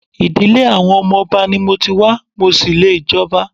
Ìdílé àwọn ọmọ Ọba ni mo ti wá, mo ṣì lè jọba.